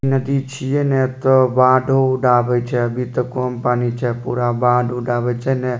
नदी छिये ने ते बाढ़ो-उढ आबे छै अभी ते कम पानी छै पूरा बाढ़-उढ आबे छै ने --